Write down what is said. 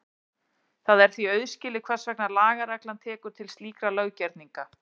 Það er því auðskilið hvers vegna lagareglan tekur til slíkra löggerninga.